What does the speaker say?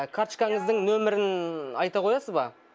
карточканыздың нөмірін айта қоясыз ба